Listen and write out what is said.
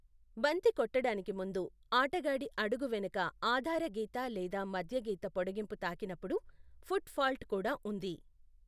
బంతి కొట్టడానికి ముందు, ఆటగాడి అడుగు వెనక ఆధారగీత లేదా మధ్యగీత పొడగింపు తాకినప్పుడు, ఫుట్ ఫాల్ట్ కూడా ఉంది.